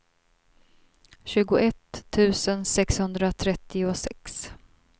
tjugoett tusen sexhundratrettiosex